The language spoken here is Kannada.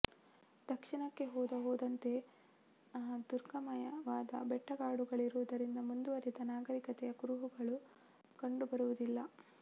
ದಕ್ಷಿಣಕ್ಕೆ ಹೋದ ಹೋದಂತೆ ದುರ್ಗಮವಾದ ಬೆಟ್ಟಕಾಡುಗಳಿರುವುದರಿಂದ ಮುಂದುವರಿದ ನಾಗರಿಕತೆಯ ಕುರುಹುಗಳು ಕಂಡು ಬರುವುದಿಲ್ಲ